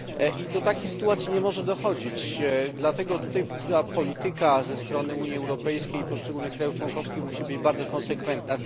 I do takich sytuacji nie może dochodzić i dlatego tutaj polityka ze strony Unii Europejskiej i poszczególnych państw członkowskich musi być bardzo konsekwentna.